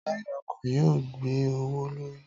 Táyà ọkọ̀ yóò gbé owó l'órí